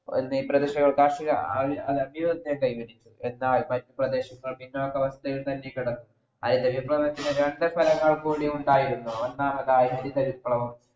എന്നീ പ്രദേശങ്ങളും കാർഷിക എന്നാൽ മറ്റു പ്രദേശങ്ങൾ പിന്നോട്ടവസ്ഥയും ശ്രദ്ധിക്കണം അതുകൊണ്ട് തന്നെ രണ്ടു വിപ്ലവങ്ങളുണ്ടായിരുന്നു ഒന്നാമതായി ഹരിത വിപ്ലവം